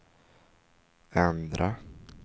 ändra